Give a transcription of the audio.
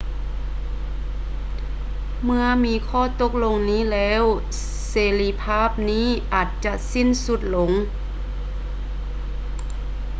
ເມື່ອມີຂໍ້ຕົກລົງນີ້ແລ້ວ ເສລີພາບນີ້ອາດຈະສິ້ນສຸດລົງ